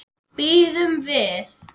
Bíðum við.